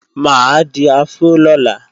Mà á di afró lọ́la